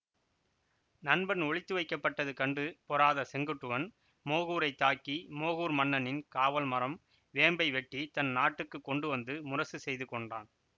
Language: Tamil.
நண்பன் ஒளித்து வைக்கப்பட்டது கண்டு பொறாத செங்குட்டுவன் மோகூரைத் தாக்கி மோகூர் மன்னனின் காவல்மரம் வேம்பை வெட்டி தன் நாட்டுக்குக் கொண்டுவந்து முரசு செய்துகொண்டான்